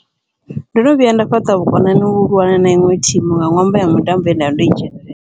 Ndono vhuya nda fhaṱa vhukonani vhahulwane na iṅwe thimu, nga ṅwambo wa mutambo ye ndavha ndo i dzhenelela.